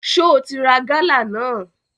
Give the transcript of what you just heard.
Só o ti ra gálà náà?